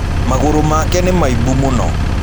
Mgũrũ make nĩmaĩbũ mũno.